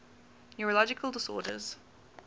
neurological disorders